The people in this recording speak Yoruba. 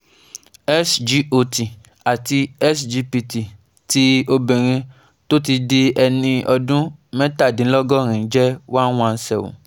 SGOT àti SGPT ti obìnrin tó ti di ẹni ọdún mẹ́tàdínlọ́gọ́rin jẹ́ one one seven